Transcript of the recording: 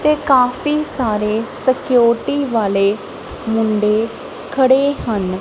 ਤੇ ਕਾਫੀ ਸਾਰੇ ਸਿਕਿਓਰਟੀ ਵਾਲੇ ਮੁੰਡੇ ਖੜੇ ਹਨ।